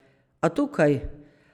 A, tukaj.